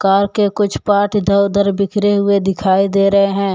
Car के कुछ part इधर उधर बिखरे हुए दिखाई दे रहे हैं।